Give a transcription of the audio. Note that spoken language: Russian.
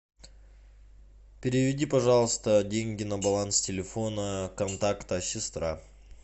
переведи пожалуйста деньги на баланс телефона контакта сестра